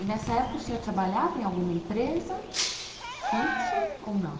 E nessa época o senhor trabalhava em alguma empresa fixo ou não?